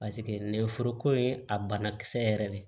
Paseke nɛgɛ foroko ye a banakisɛ yɛrɛ de